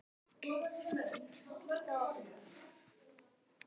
HINSTA KVEÐJA Kæri vinur.